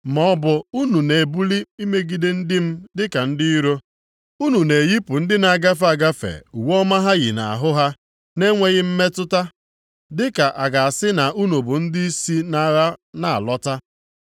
Ma ọ bụ unu na-ebili megide ndị m dịka ndị iro. Unu na-eyipụ ndị na-agafe agafe uwe ọma ha yi nʼahụ ha na-enweghị mmetụta, dịka a ga-asị na unu bụ ndị si nʼagha na-alọta.